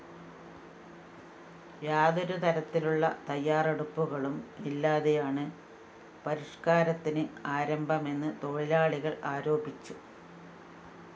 യാതൊരു തരത്തിലുള്ള തയ്യാറെടുപ്പുകളും ഇല്ലാതെയാണ് പരിഷ്‌കാരത്തിന് ആരംഭമെന്ന് തൊഴിലാളികള്‍ ആരോപിച്ചു